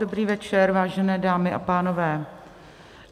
Dobrý večer, vážené dámy a pánové.